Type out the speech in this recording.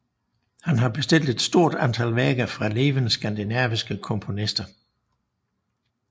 Han har bestilt et stort antal værker fra levende skandinaviske komponister